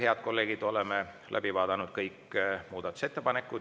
Head kolleegid, oleme läbi vaadanud kõik muudatusettepanekud.